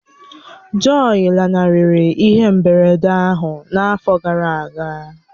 Jọyi lanarịrị ihe mberede ahụ n'afọ gara aga